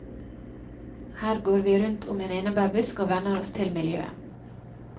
Her går vi rundt om en enerbærbusk og venner oss til miljøet.